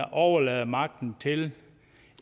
overlader magten til